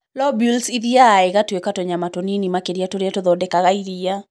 Lobules ithiaga igatuĩka tũnyamũ tũnini makĩria tũria tũngĩthondeka iria.